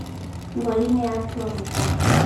Mburi nĩ yatua mũkwa